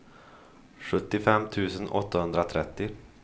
sjuttiofem tusen åttahundratrettio